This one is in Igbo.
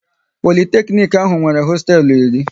Politeknic ahụ nwere hosteelu iri